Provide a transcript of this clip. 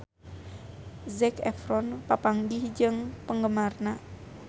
Zac Efron papanggih jeung penggemarna